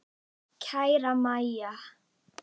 Kæra Mæja.